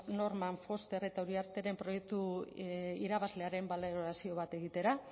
norman foster eta uriarteren proiektu irabazlearen balorazio bat egitera